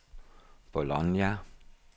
Bologna